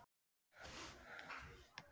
Vinkona okkar.